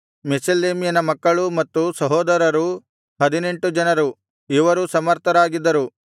ಮೆಷೆಲೆಮ್ಯನ ಮಕ್ಕಳೂ ಮತ್ತು ಸಹೋದರರೂ ಹದಿನೆಂಟು ಜನರು ಇವರೂ ಸಮರ್ಥರಾಗಿದ್ದರು